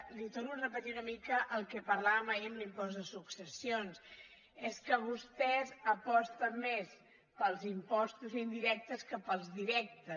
li torno a repetir una mica el que parlàvem ahir amb l’impost de succes·sions és que vostè aposta més pels impostos indi·rectes que pels directes